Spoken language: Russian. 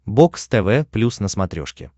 бокс тв плюс на смотрешке